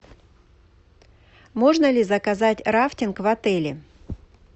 можно ли заказать рафтинг в отеле